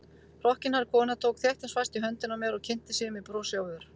Hrokkinhærð kona tók þéttingsfast í höndina á mér og kynnti sig með brosi á vör.